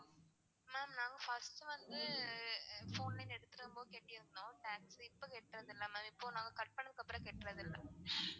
ma'am நாங் first வந்து phone line எடுதுருந்தப்போம் கெட்டிருந்தோம் tax. இப்போ கெட்றதில்ல ma'am இப்போ நாங்க cut பண்ணதுக்கு அப்பறம் கெட்றதில்ல.